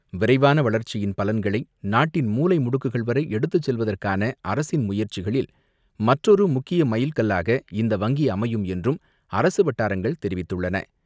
விரைவான வளர்ச்சி பலன்களை நாட்டு மூளைமுடுக்குகள் வரை எடுத்து செல்வதற்கான அரசின் முயற்சிகளில் மற்றொரு முக்கிய மைல் கல்லாக இந்த வங்கி அமையும் என்றும் அரசு வட்டாரங்கள் தெரிவித்துள்ளன.